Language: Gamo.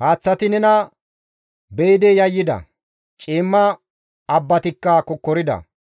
Haaththati nena be7idi yayyida; ciimma abbatikka kokkorida.